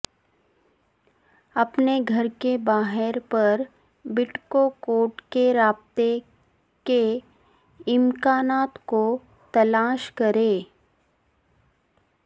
اپنے گھر کے باہر پر بٹکوکوٹ کے رابطے کے امکانات کو تلاش کریں